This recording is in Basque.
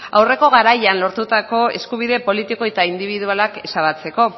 aurreko garaian lortutako eskubide politiko eta indibidualak ezabatzeko